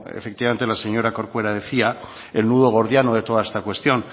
efectivamente la señora corcuera decía el nudo gordiano de toda esta cuestión